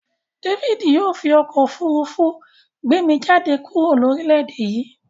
David yio fi okó òfurufú gbé mi jáde kúrò lórílèdè yí